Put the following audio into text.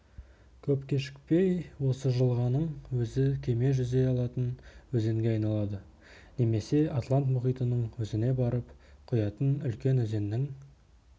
көп кешікпей осы жылғаның өзі кеме жүзе алатын өзенге айналады немесе атлант мұхитының өзіне барып құятын үлкен өзеннің